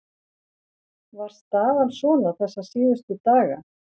Var staðan svona þessa síðustu daga?